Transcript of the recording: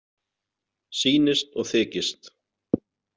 Sýnist og þykist.